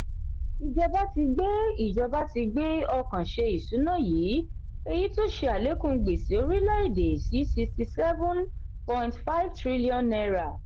ìjọba ti gbé ìjọba ti gbé ọkàn ṣe ìṣúná yìí èyí tó ṣe alekun gbèsè orílè-èdè sí sisxty seven point five trillion naira